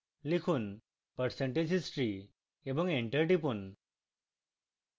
লিখুন percentage history এবং enter টিপুন